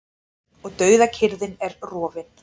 Og dauðakyrrðin er rofin.